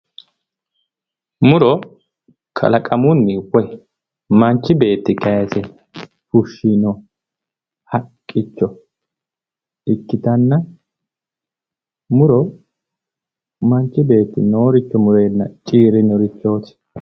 muro kalaqamunni woy manchi beetti kaayise fushshino haqqicho ikkitanna muro manchi beeti nooricho mureenna ciirinnorichoti.